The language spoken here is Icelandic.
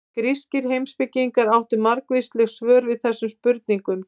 Grískir heimspekingar áttu margvísleg svör við þessum spurningum.